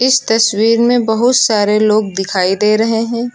इस तस्वीर में बहुत सारे लोग दिखाई दे रहे हैं।